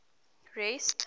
rest